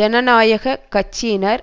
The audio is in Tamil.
ஜனநாயக கட்சியினர்